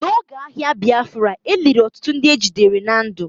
N'oge agha Biafra, e liri ọtụtụ ndị ejidere na ndụ.